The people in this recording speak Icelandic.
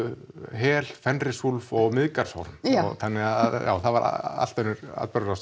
hel Fenrisúlf og Miðgarðsorm þannig að það var allt önnur atburðarás